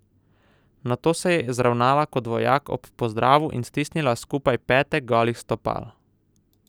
Nato se je zravnala kot vojak ob pozdravu in stisnila skupaj pete golih stopal.